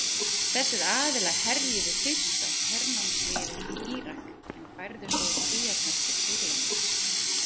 Þessir aðilar herjuðu fyrst á hernámsliðið í Írak en færðu svo út kvíarnar til Sýrlands.